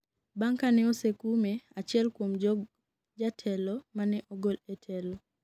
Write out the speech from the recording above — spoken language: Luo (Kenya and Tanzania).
bang' kane osekume achiel kuom jog jatelo ma ne ogol e telo